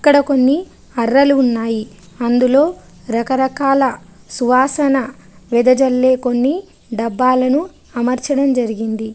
ఇక్కడ కొన్ని అర్రలు ఉన్నాయి. అందులో రకరకాల సువాసన వెదజల్లే కొన్ని డబ్బాలను అమర్చడం జరిగింది.